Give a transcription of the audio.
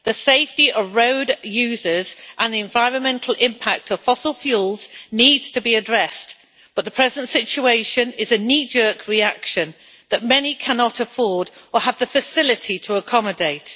The safety of road users and the environmental impact of fossil fuels needs to be addressed, but the present situation is a knee jerk reaction that many cannot afford or have the facility to accommodate.